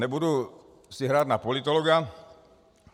Nebudu si hrát na politologa.